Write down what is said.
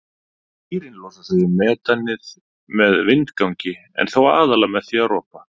Dýrin losa sig við metanið með vindgangi en þó aðallega með því að ropa.